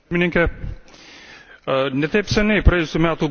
Ne taip seniai, praėjusių metų gruodžio 10